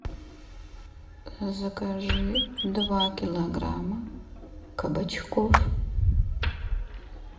закажи два килограмма кабачков